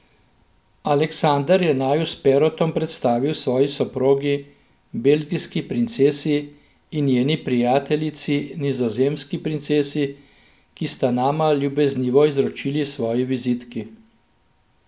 Aleksandar je naju s Perotom predstavil svoji soprogi, belgijski princesi, in njeni prijateljici, nizozemski princesi, ki sta nama ljubeznivo izročili svoji vizitki.